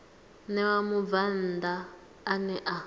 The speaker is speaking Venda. ṋewa mubvann ḓa ane a